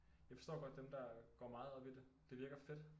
Jeg forstår godt dem der går meget op i det det virker fedt